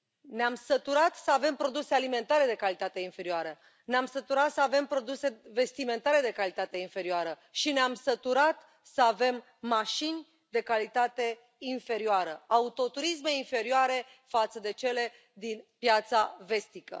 Ne am săturat să avem produse alimentare de calitate inferioară, ne am săturat să avem produse vestimentare de calitate inferioară și ne am săturat să avem mașini de calitate inferioară, autoturisme inferioare față de cele din piața vestică.